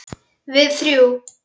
Við þrjú.